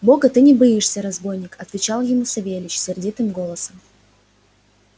бога ты не боишься разбойник отвечал ему савельич сердитым голосом